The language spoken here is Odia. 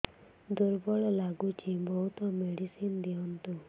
ଦୁର୍ବଳ ଲାଗୁଚି ବହୁତ ମେଡିସିନ ଦିଅନ୍ତୁ